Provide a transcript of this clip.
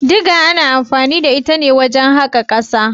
Diga ana anfani da ita ne wajen haƙa ƙasa.